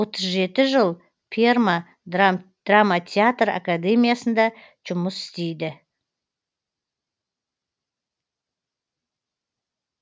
отыз жеті жыл перма драма театр академиясында жұмыс істейді